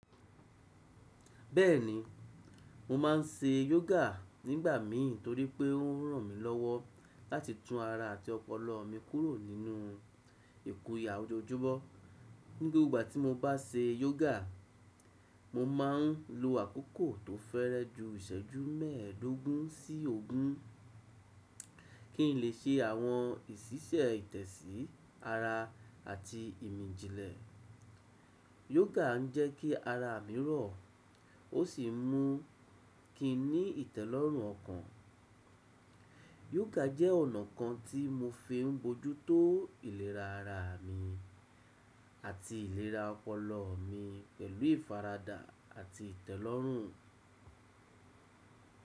Bẹ́ẹ̀ni, mo má n ṣe yoga nígbà mi torípé ó ran mi lọ́wọ́ láti tún ara àti ọpọlọ mi kúrò nínú ìkùya ojoojúmọ́. Gbogbo ìgbà tí mo bá ṣe yoga, mo ma n lo àkókò tó fẹ́rẹ ju ìṣẹ́jú mẹ́ẹ̀dógún sí ogún kí n lè ṣe àwọn ìṣísẹ́ ìtẹ̀sí ara àti ìmìjìlẹ̀. Yoga ń jẹ́ kí ara mi rọ̀, ó sì mú kí n ní ìtẹ́lọ́rùn ọkàn. Yoga jẹ́ ọ̀nà kan tí mo fi ń bójú tó ìlera ara mi àti ìlera ọpọlọ mi pẹ̀lú ìfaradà àti ìtẹ́lọ́rùn.